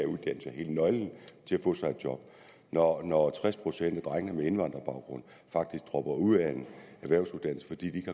få sig et job når når tres procent af drengene med indvandrerbaggrund faktisk dropper ud af en erhvervsuddannelse fordi de